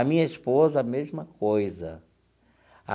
A minha esposa, a mesma coisa.